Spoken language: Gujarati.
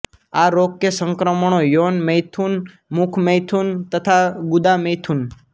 આ રોગ કે સંક્રમણો યૌન મૈથુન મુખ મૈથુન તથા ગુદા મૈથુન